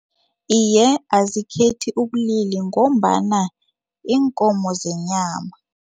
Iye, azikhethi ubulili ngombana yiinkomo zenyama.